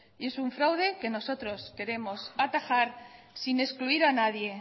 es un fraude que nosotros queremos atajar sin excluir a nadie